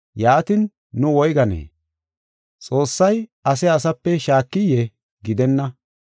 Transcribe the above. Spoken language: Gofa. Yaatin, nuuni woyganee? Xoossay ase asape shaakiyee? Gidenna.